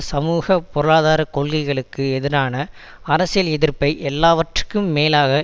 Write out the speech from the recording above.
சமூக பொருளாதார கொள்கைகளுக்கு எதிரான அரசியல் எதிர்ப்பை எல்லாவற்றுக்கும் மேலாக